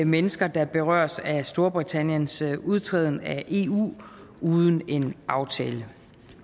mennesker der berøres af storbritanniens udtræden af eu uden en aftale